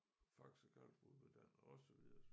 Faxe kalkbrud blev dannet og så videre og så